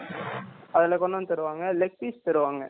அதுல்ல கொண்டு வந்து தருவாங்க leg piece தருவாங்க